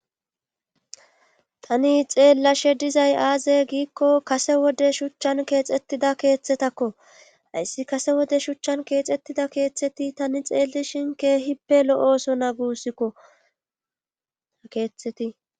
Tani xeellashe dizay aaze giikko kase wode shuchchan keexettida keeththetakko ayssi kase wode shuchchan keexxettida keeththeti tani xeelishin keehippe lo'ooso na guussikko ta keeththeti